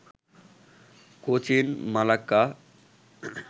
Cochin, Malacca